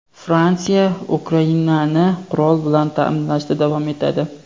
Fransiya Ukrainani qurol bilan ta’minlashda davom etadi.